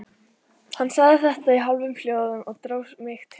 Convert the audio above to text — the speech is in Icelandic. Hann sagði þetta í hálfum hljóðum og dró mig til sín.